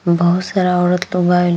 बहुत सारा औरत लोग आईल।